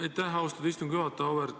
Aitäh, austatud istungi juhataja!